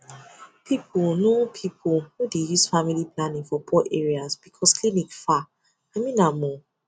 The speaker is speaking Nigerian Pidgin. people no people no dey use family planning for poor areas because clinic far i mean am o